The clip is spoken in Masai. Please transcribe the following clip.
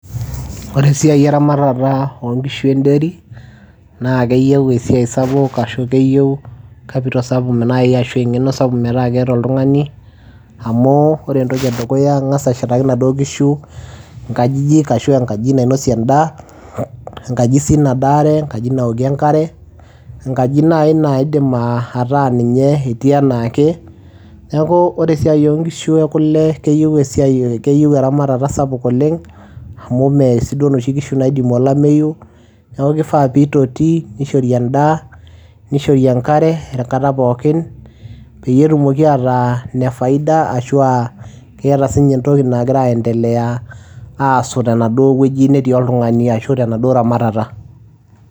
Ore esiai eramatata oo nkishu e ndairy naake eyeu esiai sapuk ashu keyeu capital sapuk nai ashu eng'eno sapuk metaa keeta oltung'ani amu ore entoki e dukuya, ang'asa ashetaki inaduo kishu inkajijik ashu enkaji nainosie endaa, enkaji sii nadaare, enkaji nawokie enkare, enkaji nai naa iidim ataa ninye etii enaa ake. Neeku ore esia oo nkishu e kule keyeu esiai keyeu eramatata sapuk oleng' amu mee sii duo inoshi kishu naidimu olameyu. Neeku kifaa piitoti nishori endaa, nishori enkare enkata pookin peyie etumoki ataa ina faida ashu aa keeta siinye entoki nagira aendelea aasu teneduo wueji netii oltung'ani ashu tenaduo ramatata.